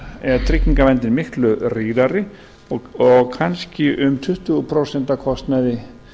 er tryggingaverndin miklu rýrari og kannski um tuttugu prósent af kostnaði